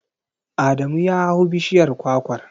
Adamu ya hau bishiyar kwakwar.